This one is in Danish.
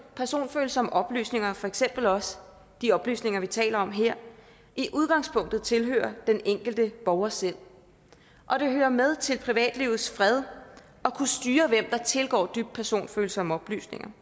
personfølsomme oplysninger for eksempel også de oplysninger vi taler om her i udgangspunktet tilhører den enkelte borger selv og det hører med til privatlivets fred at tilgår dybt personfølsomme oplysninger